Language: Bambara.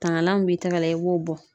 Tangalan mun b'i tɛgɛ la , i b'o bɔ.